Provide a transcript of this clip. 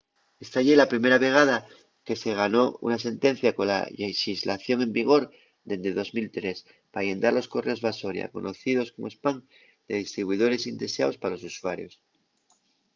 esta ye la primera vegada que se ganó una sentencia cola llexislación en vigor dende 2003 pa llendar los correos basoria conocíos como spam de distribuidores indeseaos pa los usuarios